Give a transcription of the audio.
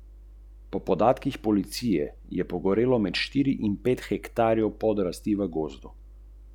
Bodo morali računovodski servisi pridobivati dovoljenje za vsakega zaposlenega iz podjetja, katerega poslovanje obravnavajo?